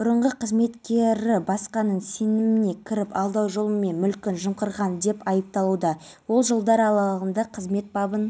ерсі көріп жатыр кейбіреулер оны осылайша құқық қорғау органдары өкілдерінен кек алмақшы болғанын айтса тағы